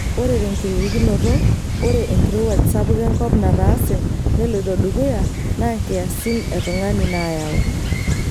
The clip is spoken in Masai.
Ore tenkiririkinoto, oreenkirowuaj sapuk enkop nataase neiloto dukuya naa nkiasin e tung'ani naayau.